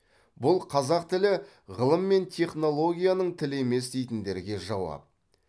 бұл қазақ тілі ғылым мен технологияның тілі емес дейтіндерге жауап